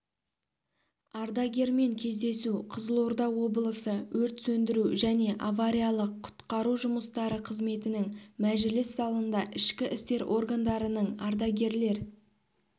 ардагермен кездесу қызылорда облысы өрт сөндіру және авариялық-құтқару жұмыстары қызметінің мәжіліс залында ішкі істер органдарының ардагерлер